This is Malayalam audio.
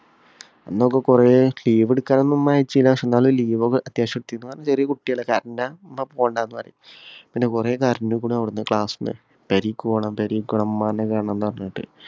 അന്നൊക്കെ കൊറേ leave എടുക്കാനും ഉമ്മ leave ഒക്കെ അത്യാവശ്യം എടുത്തിരുന്നു. ചെറിയ കുട്ടികളല്ലേ കരഞ്ഞാ ഉമ്മ പോണ്ടന്നു പറയും. പിന്നെ കൊറേ കരഞ്ഞേക്ക്ണ് class ഇല്. പെരേക് പോണം, പെരേക് പോണം, ഉമ്മാനെ കാണണംന്ന് പറഞ്ഞിട്ട്.